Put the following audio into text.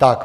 Tak.